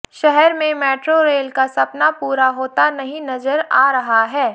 शहर में metro rail का सपना पूरा होता नहीं नजर आ रहा है